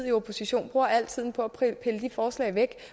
i opposition bruger al tiden på at pille de forslag væk